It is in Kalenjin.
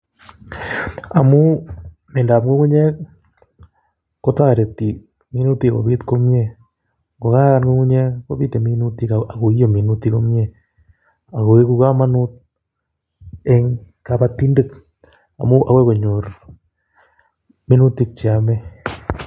Amuu miendap ngu'ung'unyek kotareti minutik kopiit komnye kongayan ngu'ung'unyek kopite minutik kobiit komnye akoeku kamonut eng kapatindet amuu agoi konyor minutik cheyame